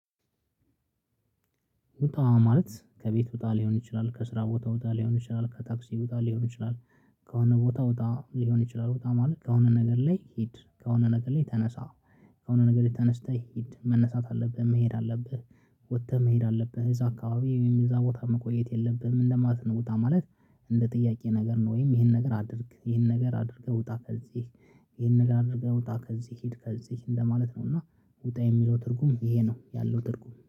ውጣ ማለት ከቤት ውጣ ሊሆን ይችላል ከስራ ቦታ ውጣ ሊሆን ይችላል ከታክሲ ወጣ ሊሆን ይችላል ከሆነ ቦታ ወጣ ሊሆን ይችላል ውጣ ማለት ከሆነ ነገር ላይ ሂድ ከሆነ ነገር ላይ ተነሳ ከሆነ ነገር ላይ ተነስተህ ሂድ መነሳት አለብህ መሄድ አለብህ ወጥተህ መሄድ አለብህ እዛ አካባቢ ወይም እዛ ቦታ መቆየት የለብህም እንደማለት ነው። ውጣ ማለት እንደ ጥያቄ ነገር ነው ወይም ይሄን ነገር አድርግ ይሄን ነገር አድርገህ ውጣ ከዚህ። ይሄን ነገር አድርገህ ውጣ ከዚህ ሂድ ከዚህ እንደማለት ነው እና ውጣ የሚለው ትርጉም ይሄ ነው ያለው ትርጉም